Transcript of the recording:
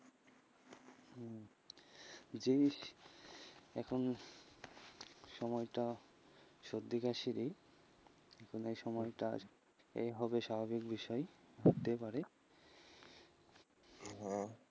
জি এখন সময়টা সর্দি কাশিরই এই সময়টাই হবে স্বাভাবিক বিষয়, হতে পারে, হম